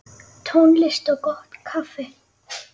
Tónlist og gott kaffi.